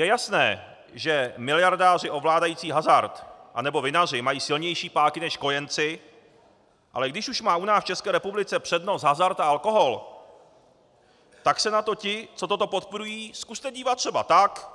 Je jasné, že miliardáři ovládající hazard anebo vinaři mají silnější páky než kojenci, ale když už má u nás v České republice přednost hazard a alkohol, tak se na to ti, co toto podporují, zkuste dívat třeba tak,